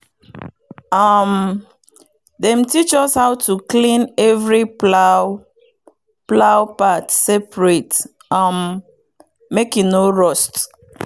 um dem teach us how to clean every plow plow part separate um make e no rust.